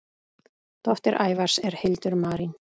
Dóttir Ævars er Hildur Marín.